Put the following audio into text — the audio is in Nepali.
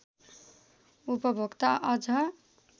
उपभोक्ता अझ